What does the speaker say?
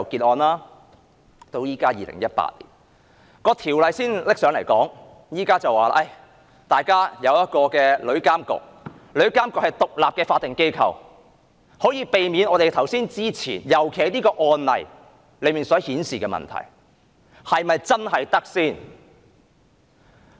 《條例草案》到2018年才提交立法會審議，建議成立旅監局，說那是獨立的法定機構，可以避免我們剛才所說的情況，特別是這宗案例所顯示的問題。